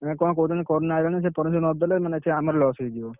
ନା କଣ କହୁଛନ୍ତି corona ସେ permission ନ ଦେଲେ ମାନେ ଆମର loss ହେଇଯିବ।